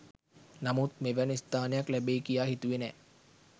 නමුත් මෙවැනි ස්ථානයක් ලැබෙයි කියා හිතුවේ නෑ.